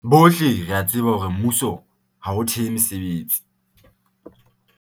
"Bohle re a tseba hore mmuso ha o thehe mesebetsi."